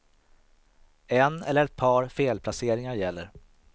En eller ett par felplaceringar gäller.